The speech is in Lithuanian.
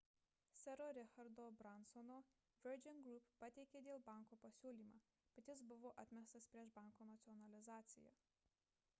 sero richardo bransono virgin group pateikė dėl banko pasiūlymą bet jis buvo atmestas prieš banko nacionalizaciją